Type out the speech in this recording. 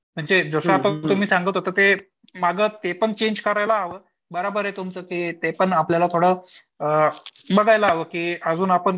म्हणजे जसं आता तुम्ही सांगत होता ते मागं ते पण चेंज करायला हवं. बरोबर आहे तुमचं ते पण थोडं आपलं अ बघायला हवं की अजून आपण